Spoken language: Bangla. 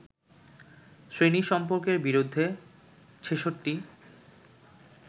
শ্রেণী-সম্পর্কের বিরুদ্ধে ৬৬